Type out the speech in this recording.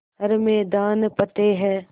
हर मैदान फ़तेह